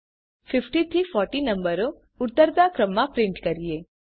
હવે ચાલો 50 થી 40 નંબરો ઉતરતા ક્રમમાં પ્રિન્ટ કરીએ